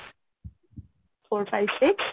four, five six?